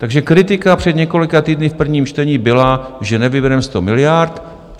Takže kritika před několika týdny v prvním čtení byla, že nevybereme 100 miliard.